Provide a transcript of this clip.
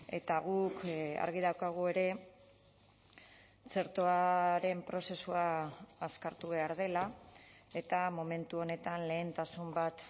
eta guk argi daukagu ere txertoaren prozesua azkartu behar dela eta momentu honetan lehentasun bat